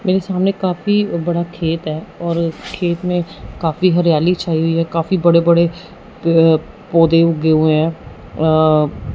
मेरे सामने काफी बड़ा खेत है और खेत में काफी हरियाली छाई हुई है काफी बड़े-बड़े पौधे उगे हुए हैं।